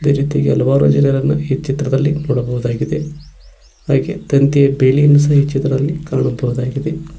ಅದೇ ರೀತಿಯಾಗಿ ಹಲವಾರು ಜನರನ್ನ ಈ ಚಿತ್ರದಲ್ಲಿ ನೋಡಬಹುದಾಗಿದೆ ಹಾಗೆ ತಂತಿಯ ಬೇಲಿಯನ್ನು ಸಹ ಈ ಚಿತ್ರದಲ್ಲಿ ಕಾಣಬಹುದಾಗಿದೆ.